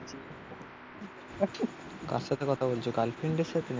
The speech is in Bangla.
কার সাথে কথা বলছো কাল ফ্রেন্ডের সাথে?